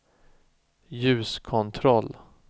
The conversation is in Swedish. ljuskontroll